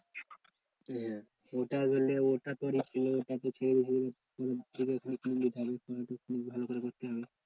হ্যাঁ ওটা ধরলে ওটা তোর ভালো করে করতে হবে।